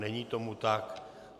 Není tomu tak.